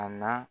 A na